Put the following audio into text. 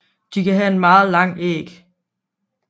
De kan have en meget lang æg